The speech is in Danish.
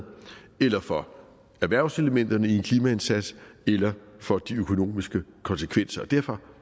eller for erhvervselementerne i en klimaindsats eller for de økonomiske konsekvenser og derfor